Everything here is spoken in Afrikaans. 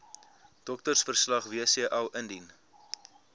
doktersverslag wcl indien